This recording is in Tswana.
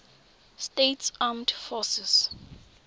states armed forces